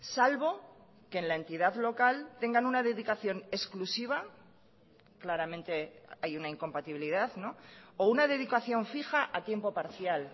salvo que en la entidad local tengan una dedicación exclusiva claramente hay una incompatibilidad o una dedicación fija a tiempo parcial